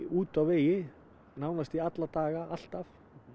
úti á vegi nánast alla daga alltaf